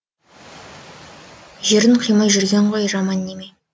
жерін қимай жүрген ғой жаман неме